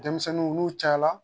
Denmisɛnninw n'u cayala